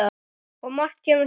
Og margt kemur til.